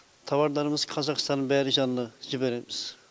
тауарларымыз қазақстанның бәрі жанына жібереміз